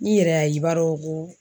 N'i yɛrɛ y'a ye i b'a dɔn ko